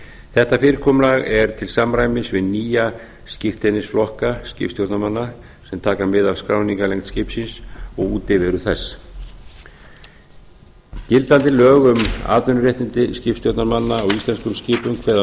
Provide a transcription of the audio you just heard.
þetta fyrirkomulag er til samræmis við nýja skírteinisflokka skipstjórnarmanna sem taka mið af skráningarlengd skipsins og útiveru þess gildandi lög um atvinnuréttindi skipstjórnarmanna á íslenskum skipum kveða